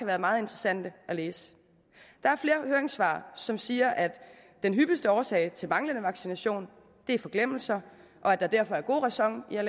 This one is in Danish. været meget interessante at læse der er flere høringssvar som siger at den hyppigste årsag til manglende vaccination er forglemmelse og at der derfor er god ræson i at